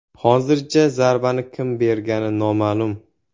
Hozircha zarbani kim bergani noma’lum.